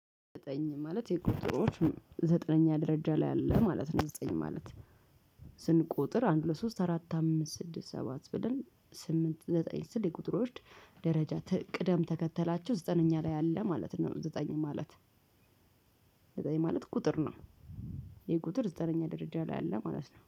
ዘጠኝ ማለት የቁጥሮች ዘጠነኛ ደረጃ ላይ አለ ማለት ነው። ዘጠኝ ማለት ስንቆጥር አንድ ሁለት ሶስት አራት አምስት ስድስት ሰባት ብለን ስምንት ዘጠኝ ስል የቁጥር ወርድ ደረጃ ቅደም ተከተላቸው ዘጠነኛ ላይ አለ ማለት ነው። ዘጠኝ ማለት ዘጠኝ ማለት ቁጥር ነው። የቁጥር ዘጠነኛ ደረጃ ላይ አለ ማለት ነው